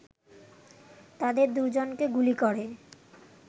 তাদের দুজনকে গুলি করে